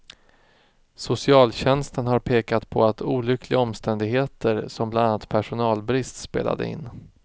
Socialtjänsten har pekat på att olyckliga omständigheter som bland annat personalbrist spelade in.